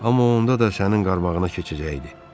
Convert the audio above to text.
Amma onda da sənin qarmağına keçəcəkdi.